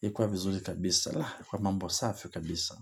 ikuwa vizuri kabisa kwa mambo safi kabisa.